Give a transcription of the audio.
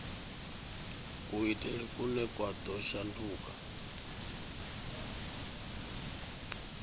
kuitele kune kwa ḓo shanduka